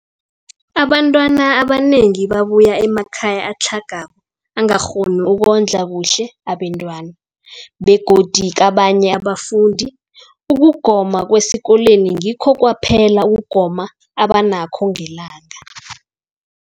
Abantwana abanengi babuya emakhaya atlhagako angakghoni ukondla kuhle abentwana, begodu kabanye abafundi, ukugoma kwesikolweni ngikho kwaphela ukugoma abanakho ngelanga.